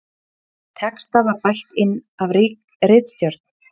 Texta var bætt inn af ritstjórn